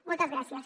moltes gràcies